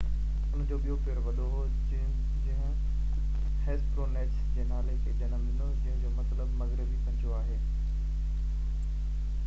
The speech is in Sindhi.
ان جو ٻيو پير وڏو هو جنهن هيسپرونيچس جي نالي کي جنم ڏنو جنهن جو مطلب مغربي پنجو آهي